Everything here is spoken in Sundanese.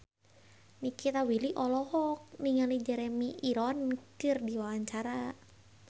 Nikita Willy olohok ningali Jeremy Irons keur diwawancara